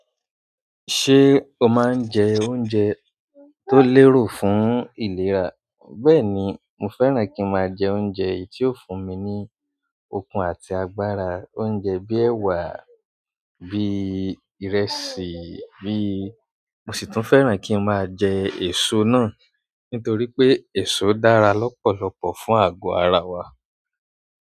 Ṣé o máa ń jẹ oúnjẹ tó lérò fún ìlera? Bẹ́ẹ̀ni, mo fẹ́ràn kí ń máa jẹ oúnjẹ tí yóò fún mi ní okun àti agbára, oúnjẹ bí ẹwà, bí ìrẹsì, bí mo sì tún fẹ́ràn kí n máa jẹ èso náà. Nítorí pé èso dára lọ́pọ̀lọpọ̀ fún àgọ́ ara wa.